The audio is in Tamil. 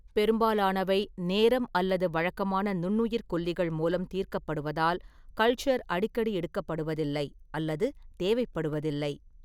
பெரும்பாலானவை, நேரம் அல்லது வழக்கமான நுண்ணுயிர்க்கொல்லிகள் மூலம் தீர்க்கப்படுவதால், கல்ச்சர் அடிக்கடி எடுக்கப்படுவதில்லை அல்லது தேவைப்படுவதில்லை.